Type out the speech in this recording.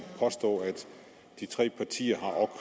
påstå at de tre partier